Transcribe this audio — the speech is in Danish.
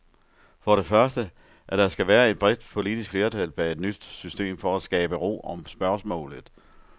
For det første, at der skal være et bredt politisk flertal bag et nyt system for at skabe ro om spørgsmålet.